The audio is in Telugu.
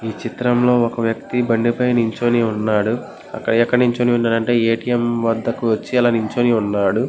ఈ చిత్రంలో ఒక వ్యక్తి బండి పైన నిలుచునే ఉన్నాడు. ఎక్కడ నిల్చున్నాడు అంటే ఏ_టీ_ఎం దగ్గరికి వచ్చి నిల్చున్నాడు.